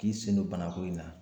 K'i sen don banako in na